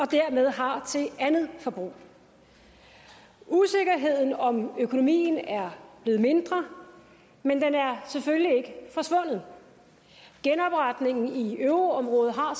dermed har til andet forbrug usikkerheden om økonomien er blevet mindre men den er selvfølgelig ikke forsvundet genopretningen i euroområdet har